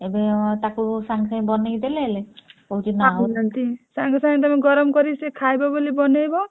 ଏବେ ତାକୁ ସାଙ୍ଗେସାଙ୍ଗ ବନେଇକି ଦେଲେହେଲେ କହୁଛି